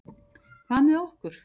Hvað með okkur?